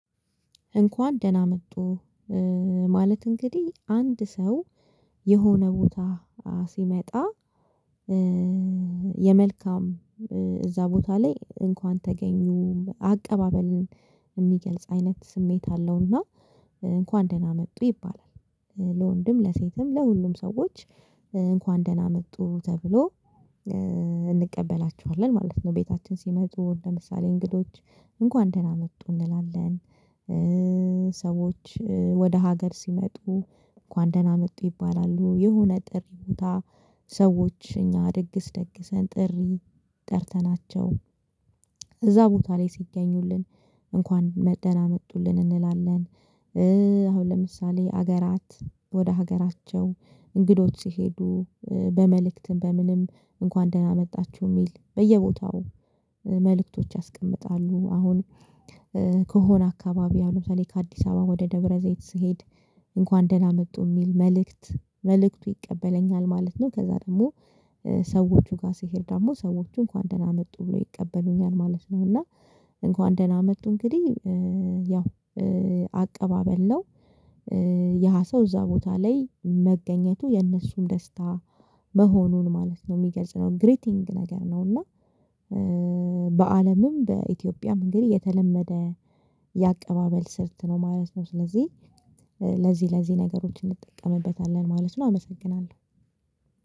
እንኳን ደህና መጡ ማለት እንግዲህ አንድ ሰው የሆነ ቦታ ሲመጣ የመልካም እዛ ቦታ ላይ እንኳን ተገኙ አቀባበልን የሚገልጽ አይነት ስሜት አለውና እንኳን ደህና መጡ ይባላል። ለወንድም ለሴትም ለሁሉም ሰዎች እንኳን ደህና መጡ ተብሎ እንቀበላቸዋለን ማለት ነው። ቤታችን ሲመጡ ለምሳሌ እንግዶች እንኳን ደህና መጡ እንላለን። ሰዎች ወደ ሀገር ሲመጡ እንጥሩ ደህና መጡ ይባላሉ። የሆነ ጥሪ ቦታ ሰዎች እኛ ድግስ ደግሰን ጥሪ ጠርተናቸው እዛ ቦታ ላይ ሲገኙልን እንኳን ደህና መጡልን እንላለን። አሁን ለምሳሌ ሀገራት ወደ ሀገራቸው እንግዶት ሲሄዱ በመልእክትም በምንም እንኳን ደህና መጣችሁ የሚል በየቦታው መልእክቶች ያስቀምጣሉ። አሁን ከሆነ አካባቢ ያሉት ለምሳሌ ከአዲስ አበባ ወደ ደብረ ዘይት ስሄድ እንኳን ደህና መጡ የሚል መልእክት መልእክቱ ይቀበለኛል ማለት ነው። ከዛ ደግሞ ሰዎቹ ጋር ሲሄድ ደግሞ ሰዎቹ እንኳን ደህና መጡ ብሎ ይቀበሉኛል ማለት ነው። እና እንኳን ደህና መጡ እንግዲህ ያው አቀባበል ነው። የሃ ሰው እዛ ቦታ ላይ መገኘቱ የነሱም ደስታ መሆኑን ማለት ነው የሚገልጽ ነው ግሪቲንግ ነገር ነው። እና በአለምም በኢትዮጵያ መእንግዲህ የተለመደ የአቀባበል ስርት ነው ማለት ነው። ስለዚህ ለዚህ ለዚህ ነገሮች እንጠቀምበታለን ማለት ነው። አመሰግናለሁ።